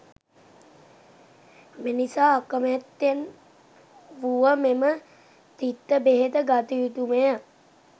මෙනිසා අකමැත්තෙන් වුව මෙම තිත්ත බෙහෙත ගත යුතු ම ය.